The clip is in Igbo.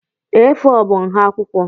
A4 bụ nha akwụkwọ.